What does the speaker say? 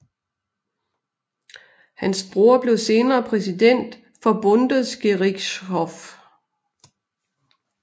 Hans bror blev senere præsident for Bundesgerichtshof